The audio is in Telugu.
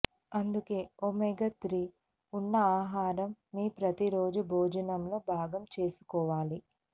అందుకే ఒమేగా త్రీ ఉన్న ఆహారం మీ ప్రతి రోజు భోజనం లో భాగం చేసుకోవాలి